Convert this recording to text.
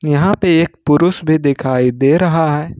यहां पे एक पुरुष भी दिखाई दे रहा है।